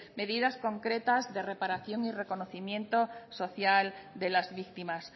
medidas concretas de reparación y reconocimiento social de las víctimas